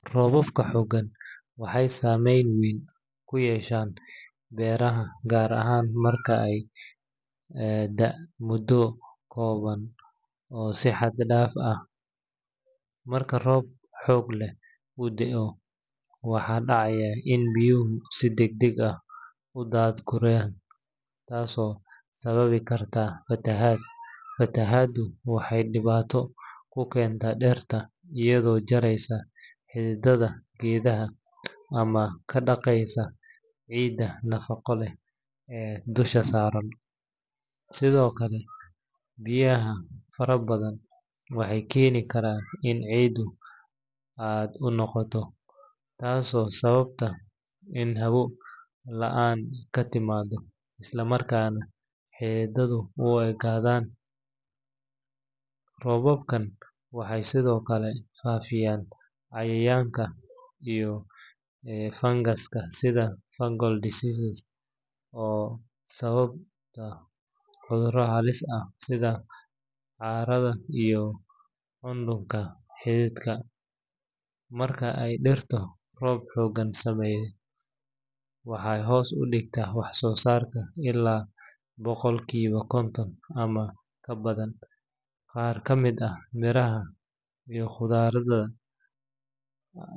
Roobabka xooggan waxay saameyn weyn ku yeeshaan beeraha, gaar ahaan marka ay da'aan muddo kooban oo si xad dhaaf ah ah. Marka roob xoog leh uu da’o, waxaa dhacaya in biyuhu si degdeg ah u daadguraan, taasoo sababi karta fatahaad. Fatahaaddu waxay dhibaato ku keentaa dhirta, iyadoo jaraysa xididdada geedaha ama ka dhaqaysa ciidda nafaqo leh ee dusha saaran. Sidoo kale, biyaha fara badan waxay keeni karaan in ciiddu aad u qoydo, taasoo sababta in hawo la’aan ka timaaddo, isla markaana xididdadu u engegaan. Roobabkan waxay sidoo kale faafiyaan cayayaanka iyo fangaska sida fungal diseases, oo sababa cudurro halis ah sida caarada iyo qudhunka xididka. Marka ay dhirta roob xooggan saameeyo, waxay hoos u dhigtaa wax-soosaarka ilaa boqolkiiba konton ama ka badan. Qaar ka mid ah miraha iyo khudradda.